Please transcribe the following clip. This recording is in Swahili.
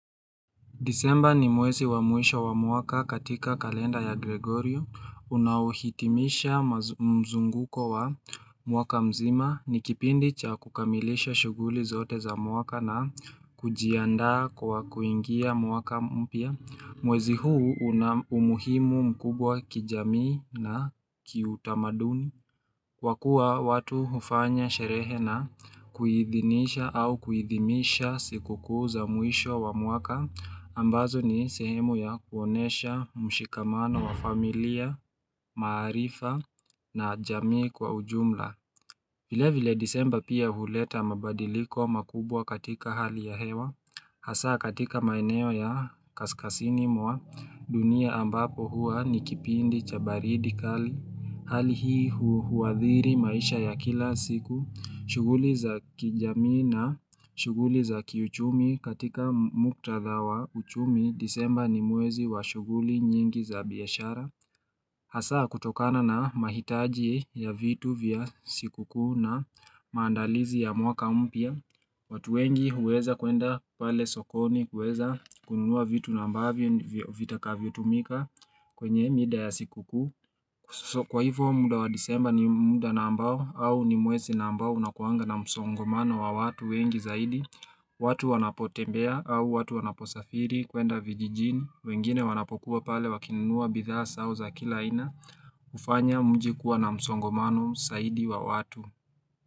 Disemba ni mwezi wa muisho wa muaka katika kalenda ya Gregorio. Unauhitimisha mzunguko wa muaka mzima ni kipindi cha kukamilisha shuguli zote za muaka na kujianda kwa kuingia muaka mpia. Mwezi huu unamuhimu mkubwa kijamii na kiutamaduni. Kwa kuwa watu hufanya sherehe na kuhithinisha au kuhithimisha siku kuu za muisho wa muaka ambazo ni sehemu ya kuonesha mshikamana wa familia, maarifa na jamii kwa ujumla vile vile disemba pia huleta mabadiliko makubwa katika hali ya hewa Hasa katika maeneo ya kaskasini mwa dunia ambapo hua ni kipindi chabaridikali Hali hii huwadhiri maisha ya kila siku, shuguli za kijami na shuguli za kiuchumi katika mukta dhawa uchumi, disemba ni mwezi wa shuguli nyingi za biyashara. Hasa kutokana na mahitaji ya vitu vya sikuku na maandalizi ya mwaka umpia. Watu wengi huweza kuenda pale sokoni, huweza kununua vitu nambavyo, vitakavyo tumika kwenye mida ya sikukuu Kwa hivyo munda wa disemba ni munda nambao au ni mwesi nambao unakuanga na msongomano wa watu wengi zaidi watu wanapotembea au watu wanaposafiri kuenda vijijini wengine wanapokuwa pale wakinunua bidhaa zai au za kila ina ufanya mjikuwa na msongomano zaidi wa watu.